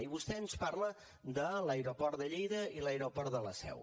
i vostè ens parla de l’aeroport de lleida i l’aeroport de la seu